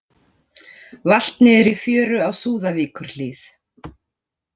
Valt niður í fjöru á Súðavíkurhlíð